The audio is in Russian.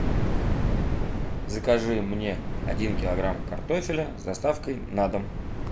закажи мне один килограмм картофеля с доставкой на дом